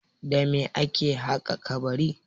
Da me ake haƙa kabari?